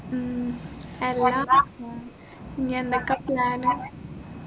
ഉം അല്ല ഇനി എന്തൊക്കെ plan